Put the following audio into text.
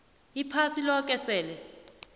iphasi loke sele